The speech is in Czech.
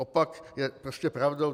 Opak je prostě pravdou.